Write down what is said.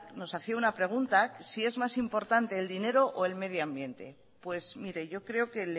nos hacía una pregunta si es más importante el dinero o el medio ambiente pues mire yo creo que